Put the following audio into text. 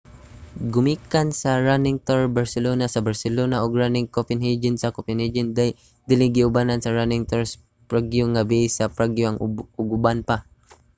gumikan sa running tour barcelona sa barcelona ug running copenhagen sa copenhagen dali kining giubanan sa running tours prague nga base sa prague ug uban pa